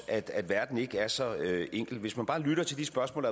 at verden ikke er så enkel hvis man bare lytter til de spørgsmål